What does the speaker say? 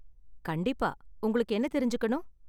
கண்டிப்பா, உங்களுக்கு என்ன தெரிஞ்சுக்கணும்?